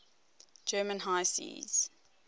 german high seas